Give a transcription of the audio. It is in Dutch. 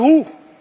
Maar hoe?